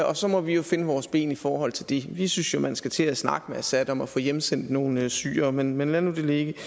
og så må vi jo finde vores ben i forhold til det vi synes jo man skal til at snakke med assad om at få hjemsendt nogle syrere men men lad nu det ligge